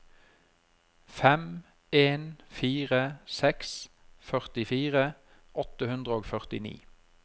fem en fire seks førtifire åtte hundre og førtini